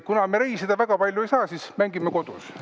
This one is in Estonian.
Kuna me reisida väga palju ei saa, siis mängime kodus.